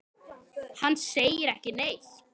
Hann segir ekki neitt.